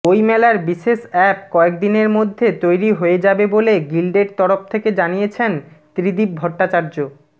বইমেলার বিশেষ অ্যাপ কয়েকদিনের মধ্যে তৈরি হয়ে য়াবে বলে গিল্ডের তরফ থেকে জানিয়েছেন ত্রিদিব ভট্টাচার্য